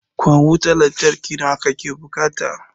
Ƙwan wutan lantarki nawa ka ke buƙata?